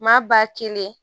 Maa ba kelen